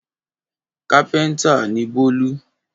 Kápẹ́ńtà ni Bólú.